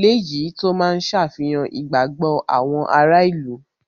léyìí tó máa ń ṣe àfihàn ìgbàgbọ́ àwọn ará ìlú.